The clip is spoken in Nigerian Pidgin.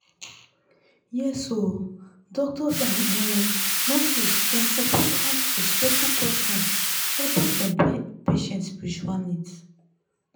yes oo doctors and um nurses dem suppose ask respectful questions about dem patients spiritual needs